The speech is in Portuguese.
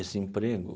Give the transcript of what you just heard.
Esse emprego?